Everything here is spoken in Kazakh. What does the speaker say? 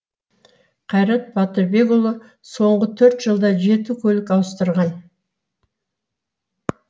қайрат батырбекұлы соңғы төрт жылда жеті көлік ауыстырған